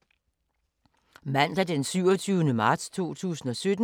Mandag d. 27. marts 2017